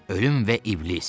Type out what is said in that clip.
Ölüm və iblis,